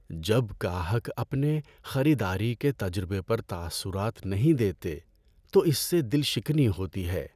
جب گاہک اپنے خریداری کے تجربے پر تاثرات نہیں دیتے تو اس سے دل شکنی ہوتی ہے۔